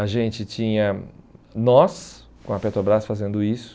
A gente tinha nós, com a Petrobras, fazendo isso.